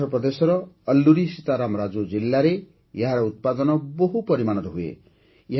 ଆନ୍ଧ୍ରପ୍ରଦେଶର ଅଲ୍ଲୁରୀ ସୀତାରାମ ରାଜୁ ଜିଲ୍ଲାରେ ଏହାର ଉତ୍ପାଦନ ବହୁ ପରିମାଣରେ ହୁଏ